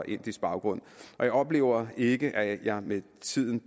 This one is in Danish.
indisk baggrund og jeg oplever ikke at jeg med tiden